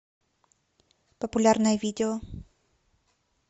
популярное видео